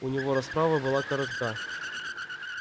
у него расправа была коротка